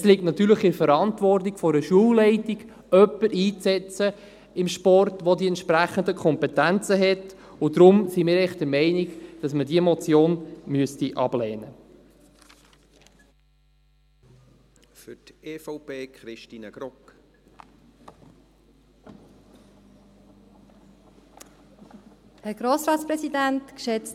Es liegt natürlich in der Verantwortung einer Schulleitung, für den Sport jemanden einzusetzen, der die entsprechenden Kompetenzen hat, und daher sind wir eigentlich der Meinung, dass man diese Motion ablehnen müsste.